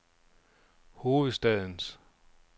hovedstadens